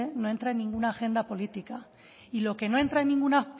no entra en ninguna agenda política y lo que no entra en ninguna